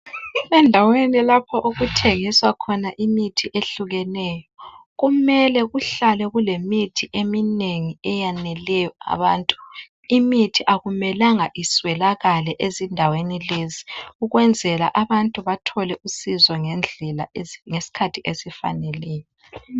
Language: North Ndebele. Endaweni lapho okuthengiswa khona imithi ehlukeneyo, kumele kuhlale kulemithi eminengi eyaneleyo abantu. Imithi akumelanga iswelakale ezindaweni lezi, ukwenzela abantu bathole usizo ngendlela ngesikhathi esifaneleyo.